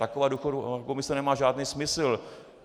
Taková důchodová komise nemá žádný smysl.